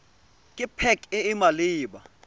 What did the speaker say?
ke pac e e maleba